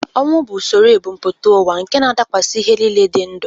Ọnwụ bụ usoro ebumpụta ụwa nke na-adakwasị ihe niile dị ndụ